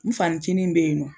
N fanicini m be yen nɔ